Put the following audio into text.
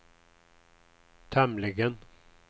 tämligen